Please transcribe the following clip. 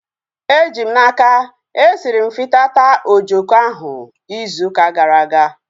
Eji m n'aka, esiri m fitata ojoko ahu izu ụka gara aga